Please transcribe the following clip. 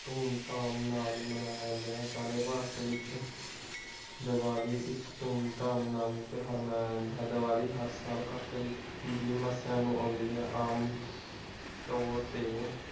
ਧੂਮਧਾਮ ਨਾਲ ਮਨਾਇਆ ਜਾਂਦਾ ਹੈ। ਸਾਰੇ ਭਾਰਤ ਵਿਚ ਦੀਵਾਲੀ ਇਕ ਧੂਮਧਾਮ ਨਾਲ ਤਿਯੋਹਾਰ ਮਨਾਇਆ ਜਾਂਦਾ ਹੈ। ਦੀਵਾਲੀ ਹਰ ਸਾਲ ਕੱਤਕ ਦੀ ਮਸਿਆ ਨੂੰ ਆਉਂਦੀ ਹੈ। ਆਮ ਤੋਰ ਤੇ